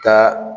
Taa